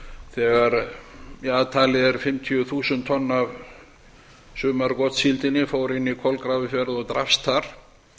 þegar að talið er fimmtíu þúsund tonn af sumargotssíldinni fór inn í kolgrafafjörð og drepist þar